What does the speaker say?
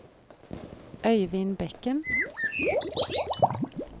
Øyvind Bekken